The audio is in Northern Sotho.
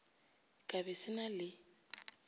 ka be se na le